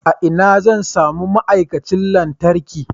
A ina zan sami ma'aikacin lantarki?